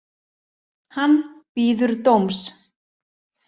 Hann bíður dóms